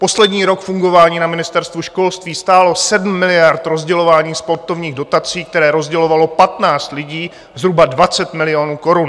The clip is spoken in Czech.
Poslední rok fungování na Ministerstvu školství stálo 7 miliard rozdělování sportovních dotací, které rozdělovalo 15 lidí, zhruba 20 milionů korun.